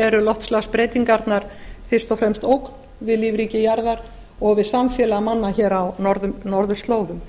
eru loftslagsbreytingarnar fyrst og fremst ógn við lífríki jarðar og við samfélag manna hér á norðurslóðum